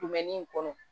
in kɔnɔ